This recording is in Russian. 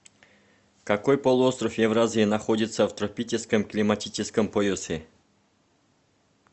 какой полуостров евразии находится в тропическом климатическом поясе